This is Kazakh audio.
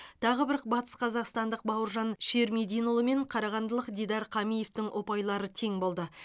тағы бір батысқазақстандық бауыржан ширмединұлы мен қарағандылық дидар қамиевтің ұпайлары тең болды